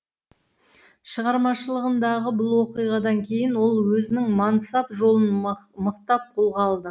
шығармашылығындағы бұл оқиғадан кейін ол өзінің мансап жолын мықтап қолға алды